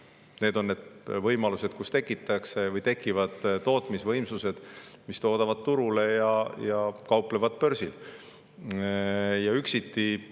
Need on võimalused, kuidas tekivad tootmisvõimsused, mis toodavad turule ja kauplevad börsil.